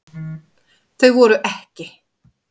Þau voru EKKI.